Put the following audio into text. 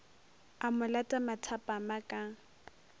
a mo lata mathapama ka